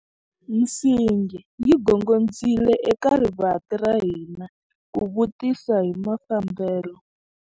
Nsingi yi gongondzile eka rivanti ra hina ku vutisa hi mafambelo.